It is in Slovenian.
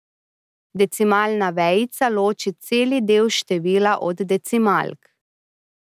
Decimalna vejica loči celi del števila od decimalk.